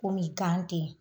Kɔmi gan tɛ yen